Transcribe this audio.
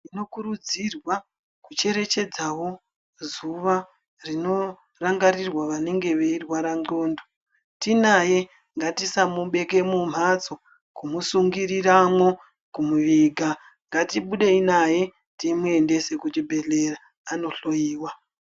Tinokurudzirwa kucherechedzawo zuwa rinorangirirwa vanenge veirwara ndxondo. Tinaye ngatisamubeke mumhatso, kumusunguriramwo, kumuviga. Ngatibudei naye timuendese kuchibhedhleri andohloiwa.